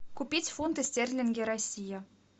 купить фунты стерлинги россия